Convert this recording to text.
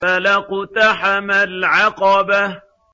فَلَا اقْتَحَمَ الْعَقَبَةَ